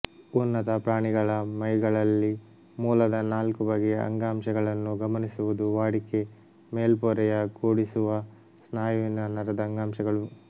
ಉನ್ನತ ಪ್ರಾಣಿಗಳ ಮೈಗಳಲ್ಲಿ ಮೂಲದ ನಾಲ್ಕು ಬಗೆಯ ಅಂಗಾಂಶಗಳನ್ನು ಗಮನಿಸುವುದು ವಾಡಿಕೆ ಮೇಲ್ಪೊರೆಯ ಕೂಡಿಸುವ ಸ್ನಾಯುವಿನ ನರದ ಅಂಗಾಂಶಗಳು